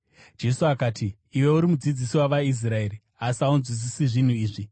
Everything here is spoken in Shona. Jesu akati, “Iwe uri mudzidzisi wavaIsraeri, asi haunzwisisi zvinhu izvi?